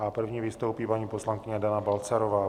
A první vystoupí paní poslankyně Dana Balcarová.